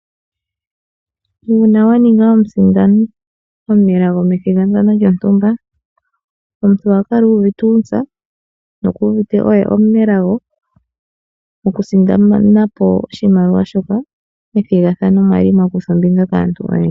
Uuna waninga omusindani omu nelago methigathano lyo ntumba, omuntu ohakala uuvite uuntsa no kuuvite oye omunelago moku sindanapo oshimaliwa shoka methigathano mwali mwakuthwa ombinga kaantu oyendji.